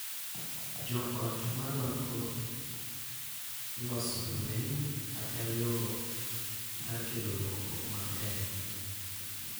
Jo ot ma rwako loso lweny kaka yo mar kelo lokruok maber